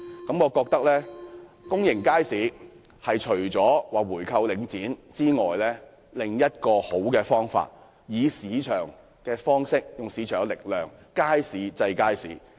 我認為要解決公營街市的問題，除了回購領展外，另一個好辦法是用市場力量，以街市制衡街市。